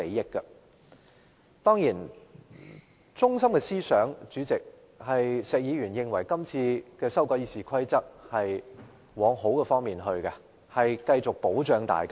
石議員發言的中心思想，是認為今次修改《議事規則》是要朝好的方向發展，可以繼續保障大家。